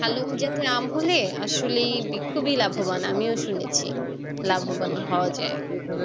ভালোম জাতের আম হলে আসলে খুবই লাভবান আমিও শুনেছি লাভবান হওয়া যায়